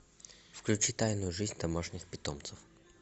включи тайную жизнь домашних питомцев